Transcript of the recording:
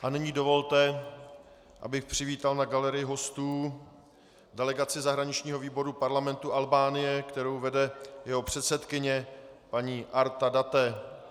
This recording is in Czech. A nyní dovolte, abych přivítal na galerii hostů delegaci zahraničního výboru parlamentu Albánie, kterou vede jeho předsedkyně paní Arta Dade.